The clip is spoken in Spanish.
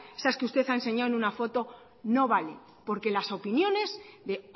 esas que usted ha enseñado en una foto no vale porque las opiniones de